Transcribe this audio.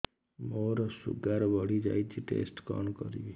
ମୋର ଶୁଗାର ବଢିଯାଇଛି ଟେଷ୍ଟ କଣ କରିବି